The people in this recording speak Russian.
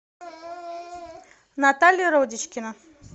наталья родичкина